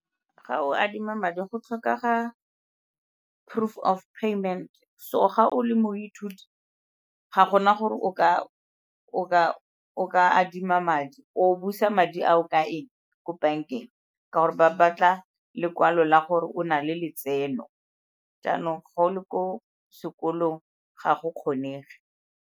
Ga o adima madi go tlhokega proof of payment, so ga o le moithuti ga gona gore o ka adima madi o busa madi ao ka eng ko bankeng ka gore ba batla lekwalo la gore o na le letseno, jaanong ga o le ko sekolong ga go kgonege.